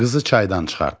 Qızı çaydan çıxartdı.